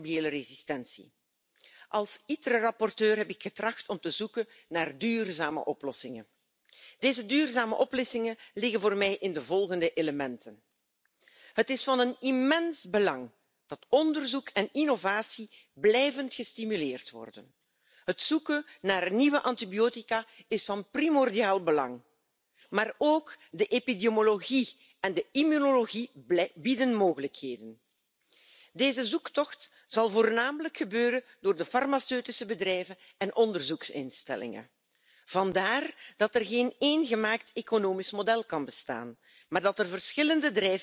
aber eben auch vom medizinischen Personal falsch verschrieben. Die Menschen wissen zu wenig darüber. Die Mehrheit meint, Antibiotika helfen einfach gegen alles, gegen Schnupfen, Erkältung, Viren. Aber das ist ja eben falsch, und das müssen wir in unserer Gesellschaft wieder verankern, dass die Menschen dies wissen, damit sie auch verstehen, warum sich diese Resistenzen immer weiter ausbreiten und dass eben jeder davon betroffen sein kann das trifft nicht immer nur andere dass deshalb auch jeder seinen Beitrag dazu